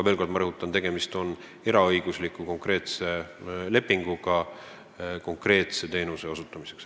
Veel kord rõhutan: tegemist on eraõigusliku lepinguga konkreetse teenuse osutamiseks.